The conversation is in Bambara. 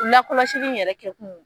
U lakɔlɔsili yɛrɛ kɛ kun